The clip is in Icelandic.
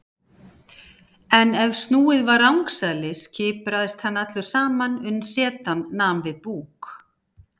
En ef snúið var rangsælis kipraðist hann allur saman uns setan nam við búk.